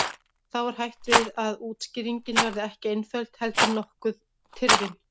Þá er hætt við að útskýringin verði ekki einföld heldur nokkuð tyrfin.